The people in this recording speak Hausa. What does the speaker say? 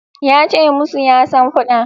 Ya ce musu ya san fada